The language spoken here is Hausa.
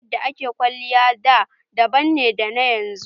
Yadda a ke kwalliya da daban ne da yanzu.